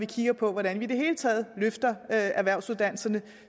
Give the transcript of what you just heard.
kigge på hvordan vi i det hele taget løfter erhvervsuddannelserne